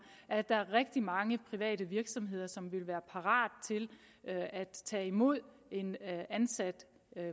at der er rigtig mange private virksomheder som vil være parate til at tage imod en ansat